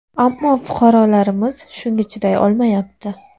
Ammo fuqarolarimiz shunga chiday olmayapti.